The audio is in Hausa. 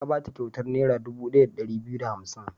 Ya ba ta kyautar Naira dubu ɗaya da ɗari biyu da hamsin.